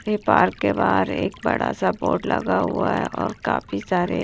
ये पार्क के बाहर एक बड़ा सा बोर्ड लगा हुआ है और काफी सारे--